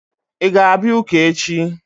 Ị ga-abịa ụka echi?